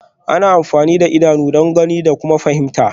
Ana amfani da idanu don gani da kuma fahimta